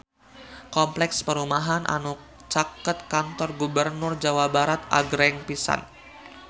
Kompleks perumahan anu caket Kantor Gubernur Jawa Barat agreng pisan